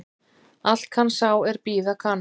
Allt kann sá er bíða kann